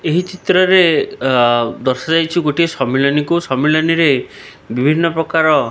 ଏହି ଚିତ୍ର ରେ ଦର୍ଶାଯାଇଛି ଗୋଟେ ସମ୍ମିଳନି କୁ ସମ୍ମିଳନି ରେ ବିଭିନ୍ନ ପ୍ରକାର।